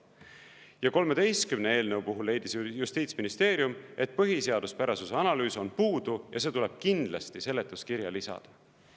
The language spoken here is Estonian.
Ja 13 eelnõu puhul leidis justiitsministeerium, et põhiseaduspärasuse analüüs on puudu ja see tuleb kindlasti seletuskirja lisada.